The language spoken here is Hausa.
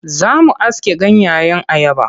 Za mu aske ganyeyen ayaba.